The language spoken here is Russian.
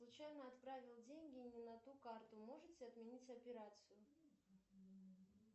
случайно отправил деньги не на ту карту можете отменить операцию